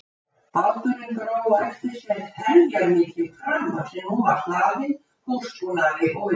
Báturinn dró á eftir sér heljarmikinn pramma sem nú var hlaðinn húsbúnaði og vistum.